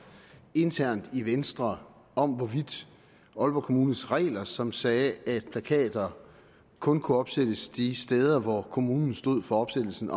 internt i venstre om hvorvidt aalborg kommunes regler som sagde at plakater kun kunne opsættes de steder hvor kommunen stod for opsættelsen